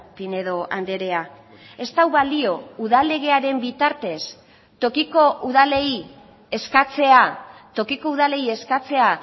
pinedo andrea ez du balio udal legearen bitartez tokiko udalei eskatzea tokiko udalei eskatzea